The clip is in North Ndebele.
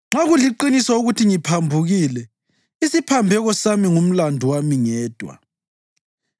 Nxa kuliqiniso ukuthi ngiphambukile, isiphambeko sami ngumlandu wami ngedwa.